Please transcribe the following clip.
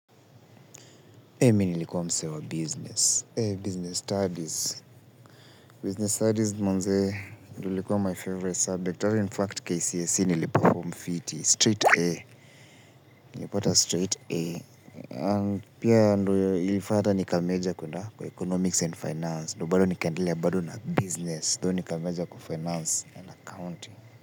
Eh mimi nlikuwa msee wa business eh business studies, business studies manzee ilikua my favourite subject hata infact KCSE nliperfom fiti straight A nlipata straight A na pia ndo ilifanya hata nika major kuenda kwa economics and finance ndo bado nikaendelea bado na business though nika major kwa finance and accounting.